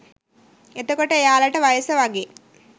එතකොට එයාලට වයස වගේ